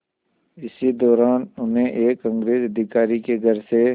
इसी दौरान उन्हें एक अंग्रेज़ अधिकारी के घर से